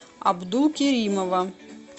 абдулкеримова